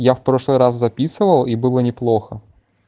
я в прошлый раз записывал и было неплохо